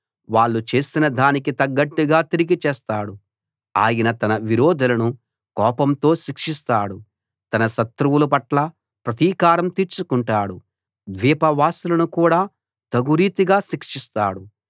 వాళ్ళు చేసిన దానికి తగ్గట్టుగా తిరిగి చేస్తాడు ఆయన తన విరోధులను కోపంతో శిక్షిస్తాడు తన శత్రువులపట్ల ప్రతీకారం తీర్చుకుంటాడు ద్వీపవాసులను కూడా తగురీతిగా శిక్షిస్తాడు